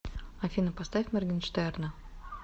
афина поставь моргинштерна